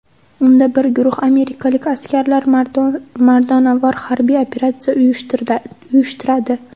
Unda bir guruh amerikalik askarlar mardonavor harbiy operatsiya uyushtiradi.